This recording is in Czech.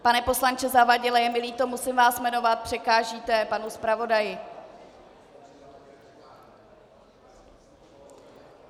Pane poslanče Zavadile, je mi líto, musím vás jmenovat, překážíte panu zpravodaji.